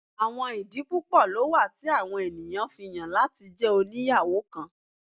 Awọn idi pupọ lo wa ti awọn eniyan fi yan lati jẹ oniyawo kan